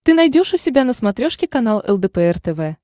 ты найдешь у себя на смотрешке канал лдпр тв